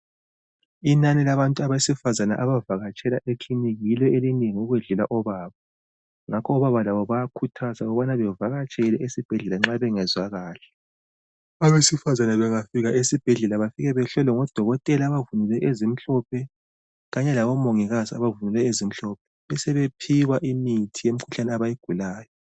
Inani labantu abesifazana, abakatshela ekliniki, yilo elinengi ukwedlula obaba. Ngakho, obaba labo bayakhuthazwa, ukuthi bavakatshele ezibhedlela, nxa bengezwa kuhle.. Abesifazana bangafika esibhedlela, bafika bahlolwe ngodokotela, abavunule ezimhlophe. Kanye labomongikazi abavunule ezimhlophe. Besebephiwa imithi yemikhuhlane, abayigulayo.